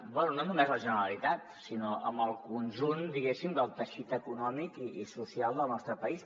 bé no només la generali·tat sinó amb el conjunt diguéssim del teixit econòmic i social del nostre país